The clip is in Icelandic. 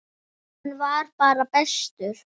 Hann var bara bestur.